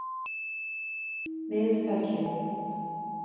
Miðfelli